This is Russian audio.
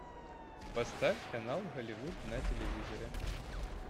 поставь канал голливуд на телевизоре